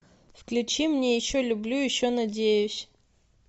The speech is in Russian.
включи мне еще люблю еще надеюсь